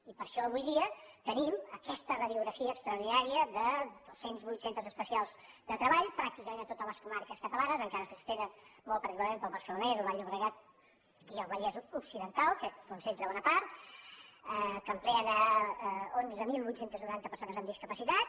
i per això avui dia tenim aquesta radiografia extra·ordinària de dos cents i vuit centres especials de treball pràc·ticament a totes les comarques catalanes encara que s’estenen molt particularment pel barcelonès el baix llobregat i el vallès occidental que en concentra bona part que ocupen onze mil vuit cents i noranta persones amb discapacitat